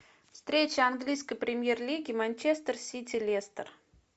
встреча английской премьер лиги манчестер сити лестер